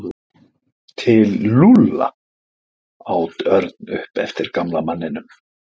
Til Lúlla? át Örn upp eftir gamla manninum.